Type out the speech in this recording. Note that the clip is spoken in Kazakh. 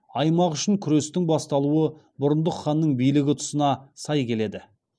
аймақ үшін күрестің басталуы бұрындық ханның билігі тұсына сай келеді